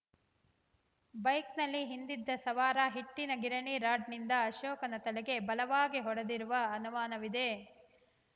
ಬೈಕ್‌ನಲ್ಲಿ ಹಿಂದಿದ್ದ ಸವಾರ ಹಿಟ್ಟಿನ ಗಿರಣಿ ರಾಡ್‌ನಿಂದ ಅಶೋಕನ ತಲೆಗೆ ಬಲವಾಗಿ ಹೊಡೆದಿರುವ ಅನುಮಾನವಿದೆ